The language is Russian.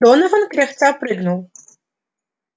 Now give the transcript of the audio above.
донован кряхтя прыгнул